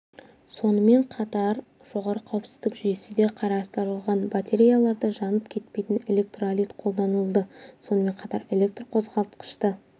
сонымен қатар жоғары қауіпсіздік жүйесі де қарастырылған батареяларда жанып кетпейтін электролит қолданылды сонымен қатар электр қозғалтқышты